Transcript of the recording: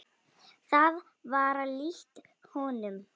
Það var líkt honum.